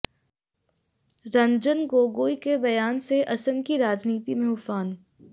रंजन गोगोई के बयान से असम की राजनीति में उफान